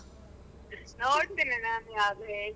ನೋಡ್ತೇನೆ ನಾನು ಹೇಳ್ತೇನೆ.